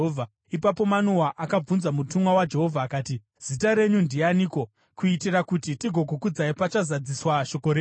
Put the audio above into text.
Ipapo Manoa akabvunza mutumwa waJehovha akati, “Zita renyu ndianiko, kuitira kuti tigokukudzai pachazadziswa shoko renyu?”